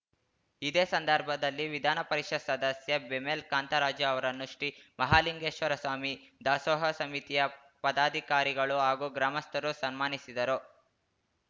ಇದೇ ಸಂದರ್ಭದಲ್ಲಿ ವಿಧಾನ ಪರಿಷತ್ ಸದಸ್ಯ ಬೆಮೆಲ್ ಕಾಂತರಾಜು ಅವರನ್ನು ಶ್ರೀ ಮಹಾಲಿಂಗೇಶ್ವರ ಸ್ವಾಮಿ ದಾಸೋಹ ಸಮಿತಿಯ ಪದಾಧಿಕಾರಿಗಳು ಹಾಗೂ ಗ್ರಾಮಸ್ಥರು ಸನ್ಮಾನಿಸಿದರು